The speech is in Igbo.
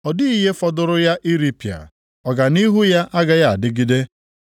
Ọ dịghị ihe fọdụụrụ ya iripịa, ọganihu ya agaghị adịgide.